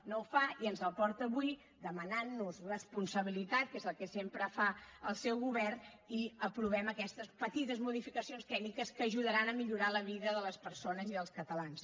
no ho fa i ens el porta avui demanant nos responsabilitat que és el que sempre fa el seu govern i aprovem aquestes petites modificacions tècniques que ajudaran a millorar la vida de les persones i dels catalans